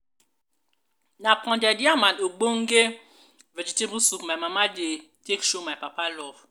na pounded yam and ogbonge vegetable soup my mama dey take show my papa love.